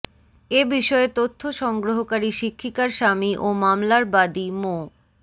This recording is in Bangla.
এ বিষয়ে তথ্য সংগ্রহকারী শিক্ষিকার স্বামী ও মামলার বাদী মো